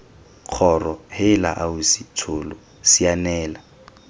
kgoro heela ausi tsholo sianela